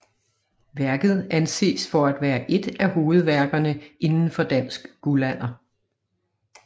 Værket anses for at være ét af hovedværkerne inden for dansk guldalder